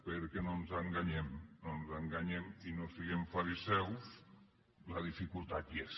perquè no ens enganyem no ens enganyem i no siguem fariseus la dificultat hi és